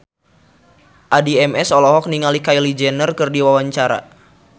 Addie MS olohok ningali Kylie Jenner keur diwawancara